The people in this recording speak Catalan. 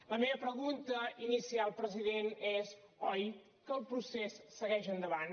la meva pregunta inicial president és oi que el procés segueix endavant